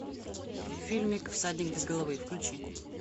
фильмик всадник без головы включи